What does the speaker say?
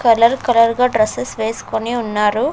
Colour colour గా dresses వేస్కొని ఉన్నారు.